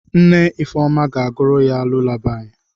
Nne Ifunanya ga-agụrụ ya lulabaị.